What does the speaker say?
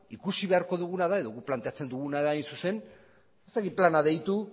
ikusi beharko duguna da edo guk planteatzen duguna da ez dakit plana deitu